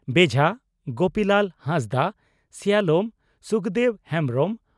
ᱵᱮᱡᱷᱟ (ᱜᱳᱯᱤᱞᱟᱞ ᱦᱟᱸᱥᱫᱟ) ᱥᱮᱭᱟᱞᱚᱢ (ᱥᱩᱠᱫᱮᱵᱽ ᱦᱮᱢᱵᱽᱨᱚᱢ) ᱾